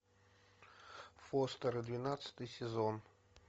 фостеры двенадцатый сезон